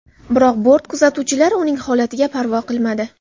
Biroq bort kuzatuvchilari uning holatiga parvo qilmadi.